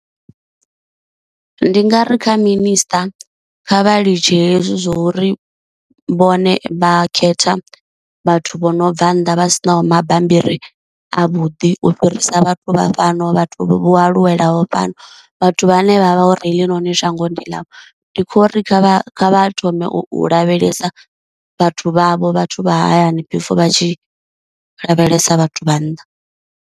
Ndi nga ri kha minister kha vha litshe hezwi zwa uri vhone vha khetha vhathu vho no bva nnḓa vha sinaho mabambiri avhuḓi u fhirisa vhathu vha fhano vha vhathu aluwelaho fhano, vhathu vhane vha vha uri heḽinoni shango ndi ḽavho, ndi khou ri kha vha thome u lavhelesa vhathu vhavho vhathu vha hayani before vha tshi lavhelesa vhathu vha nnḓa.